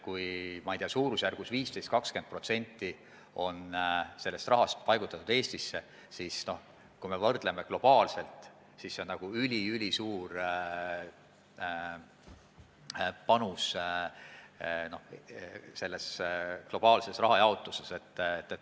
Kui suurusjärgus 15–20% sellest rahast on paigutatud Eestisse, siis globaalselt võrreldes on see ülisuur panus selles globaalses rahajaotuses.